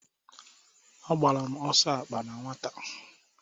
Agbara m ọsọ akpa na nwata.